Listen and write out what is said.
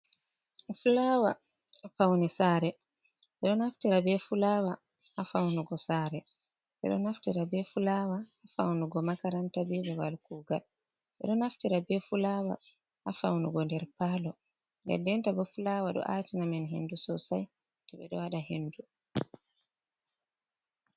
Fulawa Paune Sare, eɗo Naftira be Fulawa ha Faunugo Sare, eɗo Naftira be Fulawa ha Faunugo makaranta, be Bebal kugal. eɗo Naftira be Fulawa ha Faunugo der Palo, nden-dentabo Fulawa ɗo Atanamin Hindu Sosai toɓeɗo Waɗa Hindu.